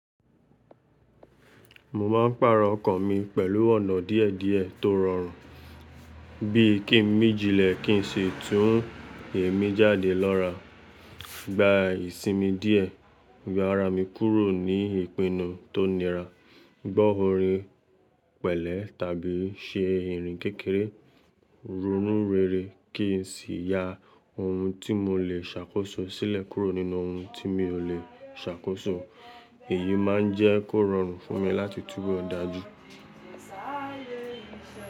Mo máa ń pàrọ̀ ọkàn mi pẹ̀lú ọ̀nà díẹ̀díẹ̀ tó rọrùn bíi kí ń míjilẹ̀ kí n ṣe tú ń èémí jáde lọ́ra, gba ìsinmi díẹ̀, gbá ara mi kúrò ní ìpinnu tó nira, gbọ́ orin pẹ̀lẹ́ tàbí ṣe irun kékeré, ronú rere kí n sì ya ohun tí mo le ṣàkóso sílẹ̀ kúrò nínú ohun tí mi ò le ṣàkóso. Èyí máa ń jẹ́ kó rọrùn fún mi láti túbọ̀ dájú.